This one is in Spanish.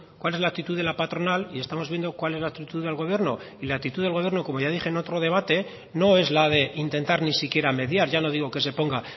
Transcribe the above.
cuál es la actitud de la patronal y estamos viendo cuál es la actitud del gobierno y la actitud del gobierno como ya dije en otro debate no es la de intentar ni siquiera mediar ya no digo que se ponga